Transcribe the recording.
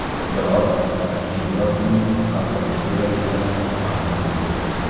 Biroq, keyinroq uning qalbaki surat ekani ma’lum bo‘ldi.